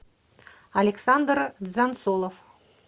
александр дзансолов